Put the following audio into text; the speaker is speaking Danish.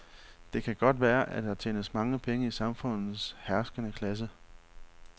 Det kan godt være, at der tjenes mange penge i samfundets herskende klasse.